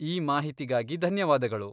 ಈ ಮಾಹಿತಿಗಾಗಿ ಧನ್ಯವಾದಗಳು.